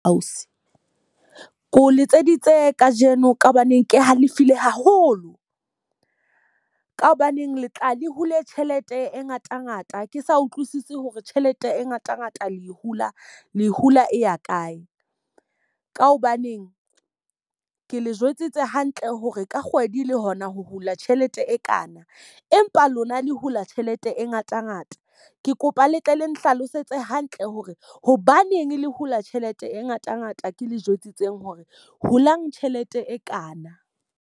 Ausi, ke o letseditse ka jeno ka hobaneng ke halefile haholo. Ka hobaneng le tla le hule tjhelete e ngata ngata, ke sa utlwisisi hore tjhelete e ngata ngata le e hula le e hula e ya kae. Ka hobaneng ke le jwetsitse hantle hore ka kgwedi le hona ho hula tjhelete e kana. Empa lona le hula tjhelete e ngata ngata. Ke kopa le tle le nhlalosetse hantle hore hobaneng le hula tjhelete e ngata ngata ke le jwetsitseng hore hulang tjhelete e kana?